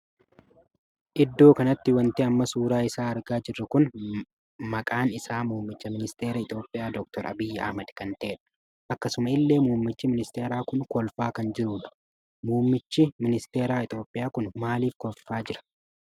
Iddoo kanatti wanti amma suuraa isaa argaa jirru kun maqaan isaa muummicha ministeeraa Itoophiyaa dokteer Abiiy Ahmad kan taheedha. akkasuma illee muummichi ministeeraa kun kolfaa kan jirudha. muummi hi ministeera Itoophiyaa kun maaliif kolfaa jira?